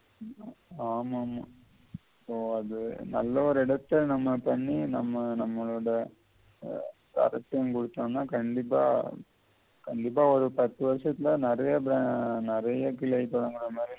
ஆமாமா so அத நல்லதொரு இடத்த நம்ம பண்ணி நம்ம நம்மளோட கண்டிப்பா கண்டிப்பா ஒரு பத்து வருஷசத்தில நெறைய